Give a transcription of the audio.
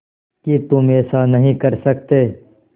कि तुम ऐसा नहीं कर सकते